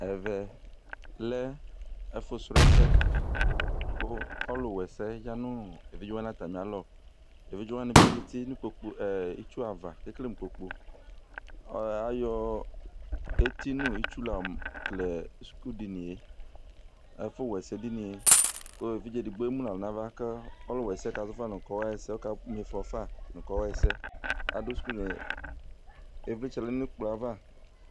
Ɛvɛ lɛ ɛfʋsrɔ ɛsɛ kʋ ɔlʋwɛsɛ ya nʋ evidze wanɩ atamɩ alɔ Evidze wanɩ bɩ zǝtɩ nʋ itsu ava kʋ ekele mʋ kpokpʋ Ayɔ eti nʋ itsu la kele skʋdɩnɩ yɛ, Ɛfʋwɛsɛ dini yɛ, kʋ evidze edigbo emu nʋ ɛlʋ nʋ ava, kʋ ɔlʋwɛsɛ kazɔ fa nʋ, ɔkama ɩfɔ fa nʋ kɔ ɣɛsɛ Adʋ skʋdini yɛ kʋ ɩvlɩtsɛ yǝdʋ nʋ ɛkplɔ yɛ ava